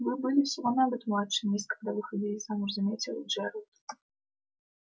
вы были всего на год старше мисс когда выходили замуж заметил джералд